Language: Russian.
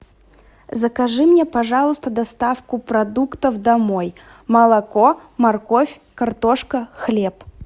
закажи мне пожалуйста доставку продуктов домой молоко морковь картошка хлеб